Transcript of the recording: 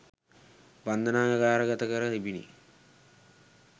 බන්ධනාගාරගත කර තිබිණි